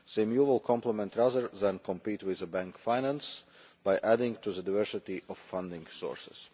CMU will complement, rather than compete with, bank finance by adding to the diversity of funding sources.